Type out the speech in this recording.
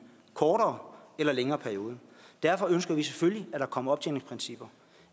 kortere eller længere periode derfor ønsker vi selvfølgelig at der kommer optjeningsprincipper